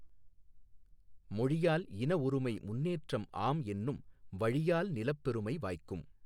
மொழியால் இனஒருமை முன்னேற்றம் ஆம்என்னும் வழியால் நிலப்பெருமை வாய்க்கும்